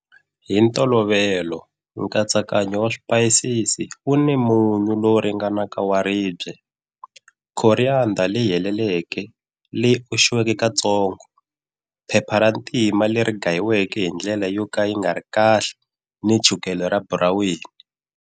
Hi ntolovelo nkatsakanyo wa swipayisisi wu ni munyu lowu ringanaka wa ribye, coriander leyi heleleke, leyi oxiweke katsongo, phepha ra ntima leri gayiweke hi ndlela yo ka yi nga ri kahle ni chukela ra buraweni.